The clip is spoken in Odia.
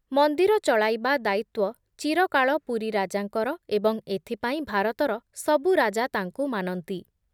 ମନ୍ଦିର ଚଳାଇବା ଦାୟିତ୍ଵ ଚିରକାଳ ପୁରୀ ରାଜାଙ୍କର ଏବଂ ଏଥିପାଇଁ ଭାରତର ସବୁ ରାଜା ତାଙ୍କୁ ମାନନ୍ତି ।